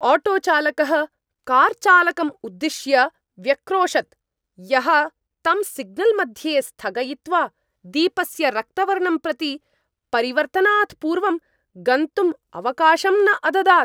आटोचालकः कार्चालकम् उद्दिश्य व्यक्रोशत्, यः तं सिग्नल्मध्ये स्थगयित्वा, दीपस्य रक्तवर्णं प्रति परिवर्तनात् पूर्वं गन्तुम् अवकाशं न अददात्।